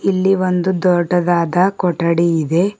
ಇಲ್ಲಿ ಒಂದು ದೊಡ್ಡದಾದ ಕೊಠಡಿ ಇದೆ.